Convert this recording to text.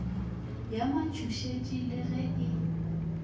ya matšhošetši le ge e